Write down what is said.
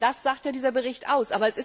Das sagt ja dieser Bericht